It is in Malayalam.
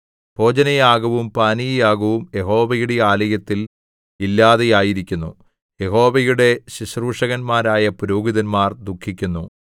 ഭോജനയാഗവും പാനീയയാഗവും യഹോവയുടെ ആലയത്തിൽ ഇല്ലാതെയായിരിക്കുന്നു യഹോവയുടെ ശുശ്രൂഷകന്മാരായ പുരോഹിതന്മാർ ദുഃഖിക്കുന്നു